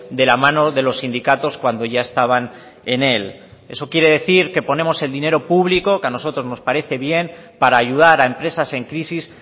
de la mano de los sindicatos cuando ya estaban en él eso quiere decir que ponemos el dinero público que a nosotros nos parece bien para ayudar a empresas en crisis